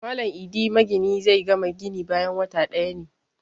Malam Idi magini zai gama gini bayan wata ɗaya ne